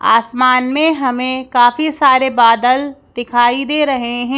आसमान में हमें काफी सारे बादल दिखाई दे रहें हैं।